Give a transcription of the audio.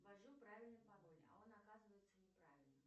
ввожу правильный пароль а он оказывается неправильным